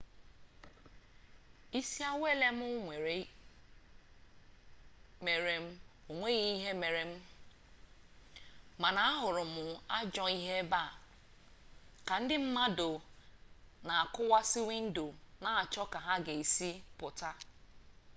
isi awele m mere onweghi ihe mere m mana ahuru m ajoo ihe ebe a ka ndi mmadu n'akuwasi windo n'acho ka ha ga esi puta